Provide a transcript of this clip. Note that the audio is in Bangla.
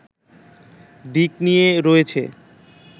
দিক নিয়ে রয়েছে